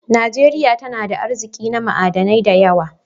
Najeriya tana da arzikin na ma'adanai da yawa.